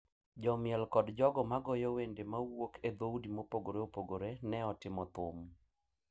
Jomiel kod jogo ma goyo wende ma wuok e dhoudi mopogore opogore ne otimo thum,